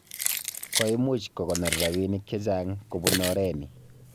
Koimuch kokonor rabinik chechaang kobun oreni